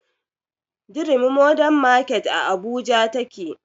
Durumi mordern market a abuja take